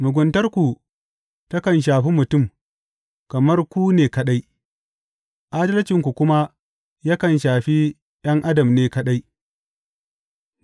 Muguntarku takan shafi mutum kamar ku ne kaɗai, adalcinku kuma yakan shafi ’yan adam ne kaɗai.